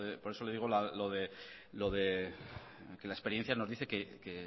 que la experiencia nos dice que